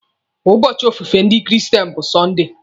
Ụbọchị ofufe ndị kristen bụ Sọnde.